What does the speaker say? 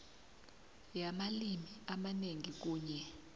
yamalimi amanengi kunye